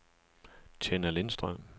Tenna Lindstrøm